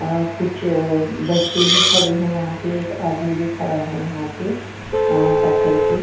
अ कुछ बच्चे भी खड़े है वहाँ पे एक आदमी भी खडा है वहाँ पे पत्थर पे--